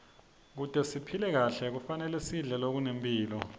kute siphile kahle kufanele sidle lokunemphilo